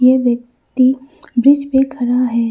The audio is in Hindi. व्यक्ति ब्रिज पे खड़ा है।